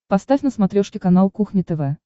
поставь на смотрешке канал кухня тв